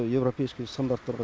европейский стандарттарға